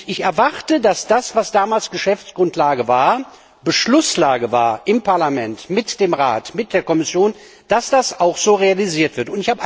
Ich erwarte, dass das, was damals Geschäftsgrundlage, Beschlusslage im Parlament, mit dem Rat und der Kommission war, auch so realisiert wird.